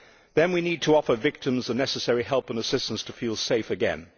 Then we need to offer victims the necessary help and assistance to feel safe again.